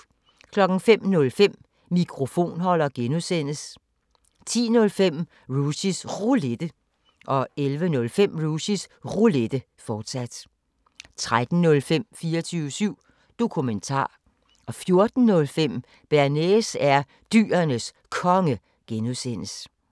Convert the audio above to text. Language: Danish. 05:05: Mikrofonholder (G) 10:05: Rushys Roulette 11:05: Rushys Roulette, fortsat 13:05: 24syv Dokumentar 14:05: Bearnaise er Dyrenes Konge (G)